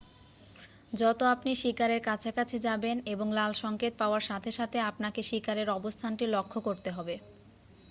যত আপনি শিকারের কাছাকাছি যাবেন এবং লাল সংকেত পাওয়ার সাথে সাথে আপনাকে শিকারের অবস্থানটি লক্ষ্য করতে হবে